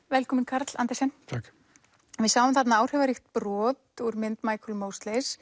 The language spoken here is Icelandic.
velkominn Karl Andersen takk við sáum þarna áhrifaríkt brot úr mynd